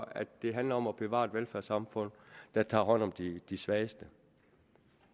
at det handler om at bevare et velfærdssamfund der tager hånd om de de svageste